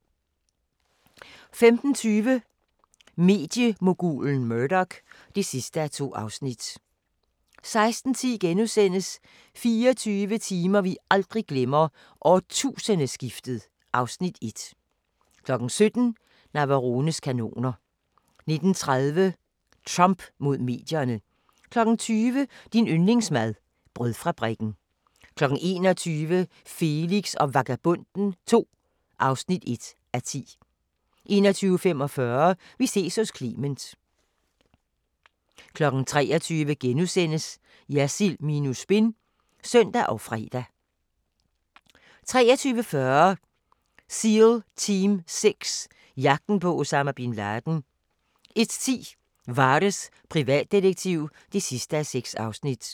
15:20: Mediemogulen Murdoch (2:2) 16:10: 24 timer vi aldrig glemmer: Årtusindeskiftet (Afs. 1)* 17:00: Navarones kanoner 19:30: Trump mod medierne 20:00: Din yndlingsmad: Brødfabrikken 21:00: Felix og Vagabonden II (1:10) 21:45: Vi ses hos Clement 23:00: Jersild minus spin *(søn og fre) 23:40: Seal Team Six: Jagten på Osama Bin Laden 01:10: Vares, privatdetektiv (6:6)